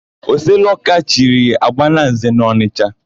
Oseloka chiri, Agbalanze n'Ọnịsha.